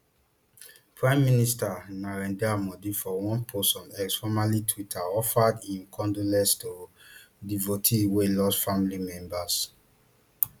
prime minister narendra modi for one post on x formerly twitter offered im condolences to devotees wey lost family members